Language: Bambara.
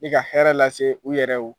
Nin ka hɛrɛ lase u yɛrɛw